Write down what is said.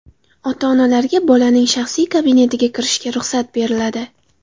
Ota-onalarga bolaning shaxsiy kabinetiga kirishiga ruxsat beriladi.